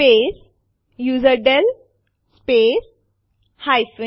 આપણે ઘણી ફાઈલો સાથે આરએમ આદેશ વાપરી શકીએ છીએ